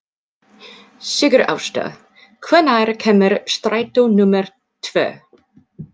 Sigurásta, hvenær kemur strætó númer tvö?